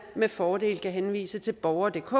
med fordel kan henvises til borgerdk